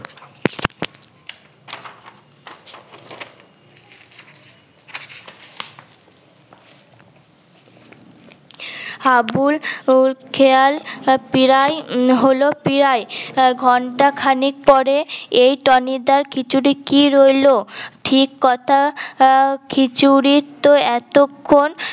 হাবুল খেয়াল উহ প্রায় হল প্রায় প্রায় ঘণ্টা খানেক পরে এই টনি দা খিছুড়ি কি রইল ঠিক কথা খিছুড়ি তো এতক্ষণ